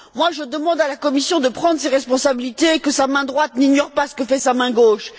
Je demande à la Commission de prendre ses responsabilités et que sa main droite n'ignore pas ce que fait sa main gauche.